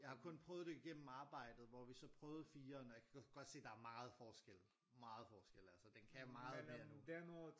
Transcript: Jeg har kun prøvet det igennem arbejdet hvor vi så prøvede 4'eren og jeg kan godt se der er meget forskel meget forskel altså den kan meget mere nu